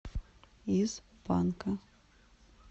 из панка